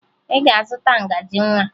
Ị ga-aga zụta ngaji nwa!